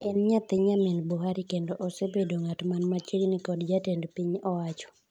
En nyathi nyamin Buhari to kendo osebedo ng'atman machiegni kod jatend piny owacho.